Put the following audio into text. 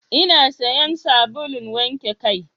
Ina sayan sabulun wanke kai.